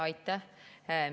Aitäh!